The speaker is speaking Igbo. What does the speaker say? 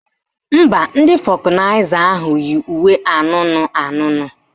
Mba, ndị fọkụnaịza ahụ yi uwe anụnụ anụnụ